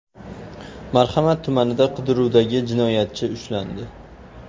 Marhamat tumanida qidiruvdagi jinoyatchi ushlandi.